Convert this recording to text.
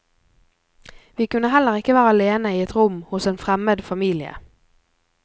Vi kunne heller ikke være alene i et rom hos en fremmed familie.